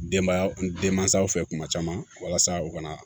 Denbaya den mansaw fɛ kuma caman walasa u ka na